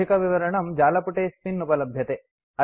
अधिकविवरणं जालपुटेऽस्मिन् उपलभ्यते